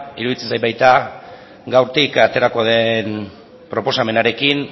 iruditzen zait baita gaurtik aterako den proposamenarekin